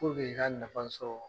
i ka nafa sɔrɔ